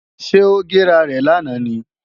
Ṣé ó gé rarẹ̀ lánàá ni?